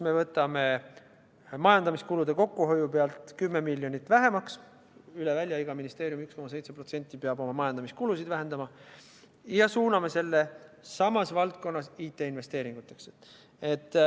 Me võtame majandamiskulude kokkuhoiuga 10 miljonit vähemaks – üle välja, iga ministeerium peab 1,7% oma majandamiskulusid vähendama – ja suuname selle samas valdkonnas IT-investeeringuteks.